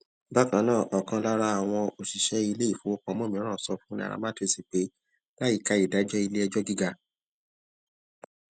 bákan náà òkan lára àwọn òṣìṣẹ iléifowopamọ mìíràn sọ fún nairametrics pé láìka ìdájó iléẹjọ gíga